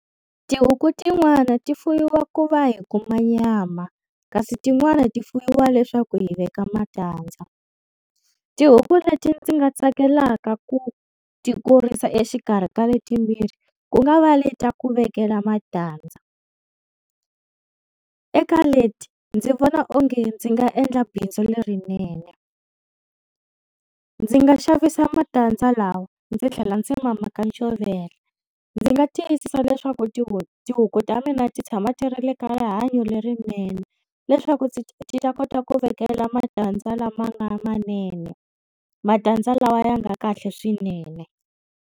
Tihuku tin'wani ti fuwiwa ku va hi kuma nyama, kasi tin'wani ti fuwiwa leswaku hi veka matandza. Tihuku leti ndzi nga tsakelaka ku ti kurisa exikarhi ka letimbirhi ku nga va le ta ku vekela matandza. Eka leti ndzi vona onge ndzi nga endla bindzu lerinene. Ndzi nga xavisa matandza lawa ndzi tlhela ndzi ma maka ncovela. Ndzi nga tiyisisa leswaku tihuku ta mina ti tshama ti ri le ka rihanyo lerinene, leswaku ti ta kota ku vekela matandza lama nga manene. Matandza lawa ya nga kahle swinene.